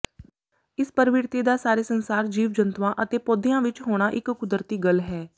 ਇਸ ਪ੍ਰਵਿਰਤੀ ਦਾ ਸਾਰੇ ਸੰਸਾਰ ਜੀਵ ਜੰਤੂਆਂ ਅਤੇ ਪੌਦਿਆਂ ਵਿਚ ਹੋਣਾ ਇਕ ਕੁਦਰਤੀ ਗਲ ਹੈ